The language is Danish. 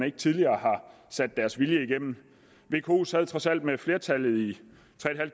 ikke tidligere har sat deres vilje igennem vko sad trods alt med flertallet i tre